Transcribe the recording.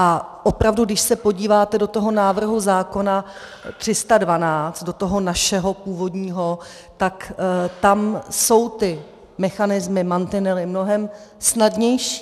A opravdu, když se podíváte do toho návrhu zákona 312, do toho našeho původního, tak tam jsou ty mechanismy, mantinely mnohem snadnější.